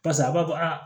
Parisa a b'a fɔ a